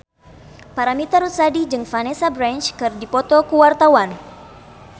Paramitha Rusady jeung Vanessa Branch keur dipoto ku wartawan